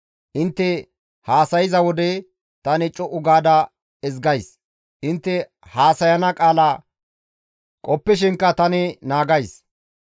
Intte haasayza wode tani co7u gaada ezgays; intte haasayana qaala qoppishinka tani naagays.